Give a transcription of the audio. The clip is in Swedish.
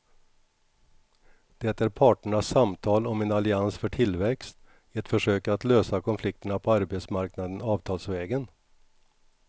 Det är parternas samtal om en allians för tillväxt, ett försök att lösa konflikterna på arbetsmarknaden avtalsvägen.